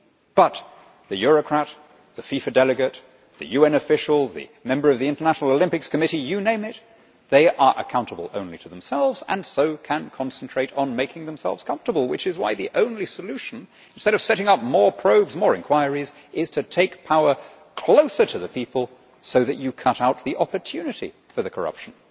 But the Eurocrat, the FIFA delegate, the UN official, the member of the International Olympics Committee you name it they are accountable only to themselves and so can concentrate on making themselves comfortable, which is why the only solution, instead of setting up more probes and more inquiries, is to take power closer to the people so that you cut out the opportunity for the corruption.